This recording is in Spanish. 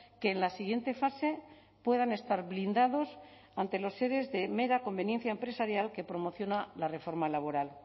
que en la siguiente fase puedan estar blindados ante los ere de mera conveniencia empresarial que promociona la reforma laboral